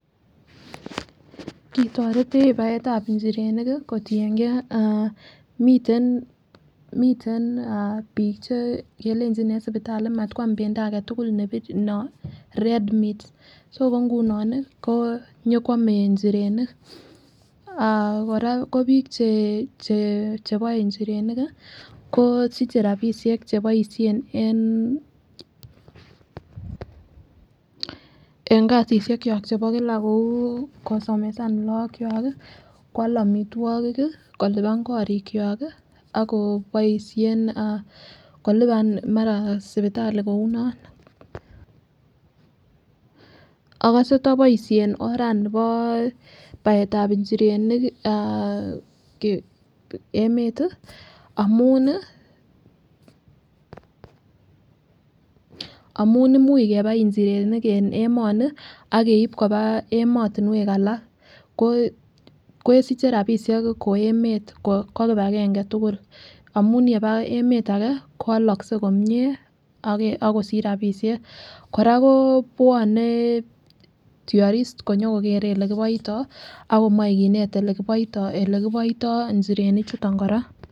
Kioretech baetab inchirenik kotinyengee miten bik che kelenji en sipitali matkwam pendoo agetukul nepirir ne red meat so ko ngunon nii nyokwome nchirenik. Ah Koraa ko bik che cheboe nchirenik kii kosiche rabishek cheboishen en en kasishek kyok chebo kila kou kosomesan lok kwak kii kwal omitwokik kii kolipani korik kwak kii ako kiboishen kilipan mara sipitali kou non. Okose toboishen orani bo baetab nchirenik ah emet tii amun nii amun imuch kebaen inchirenik en emoni ak keib koba emotunwek alak ko kesiche rabishek ko emet ko kipagenge tukuk amun yeba emet age kowolokse komie ak kosich rabishek. Koraa kobwone tourists konyo kokere olekiboito ak komoi kinet olekiboito, olekiboito inchirenik chuton Koraa.